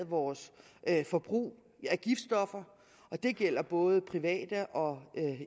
vores forbrug af giftstoffer og det gælder både private og